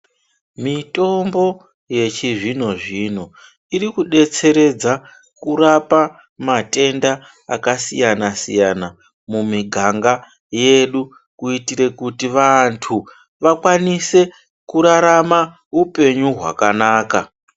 Mitombo yechizvino-zvino, iri kudetseredza kurapa matenda akasiyana-siyana, mumiganga yedu kuyitire kuti vantu, vakwanise kurarama upenyu hwakanaka.